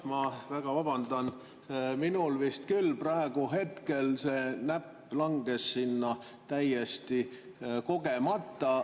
Ma väga vabandan, minul vist küll praegu see näpp langes sinna täiesti kogemata.